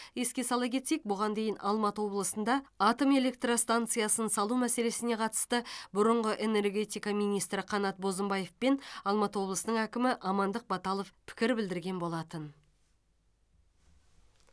еске сала кетсек бұған дейін алматы облысында атом электр станциясын салу мәселесіне қатысты бұрынғы энергетика министрі қанат бозымбаев пен алматы облысының әкімі амандық баталов пікір білдірген болатын